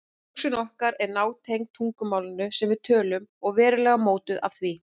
Hugsun okkar er nátengd tungumálinu sem við tölum og verulega mótuð af því.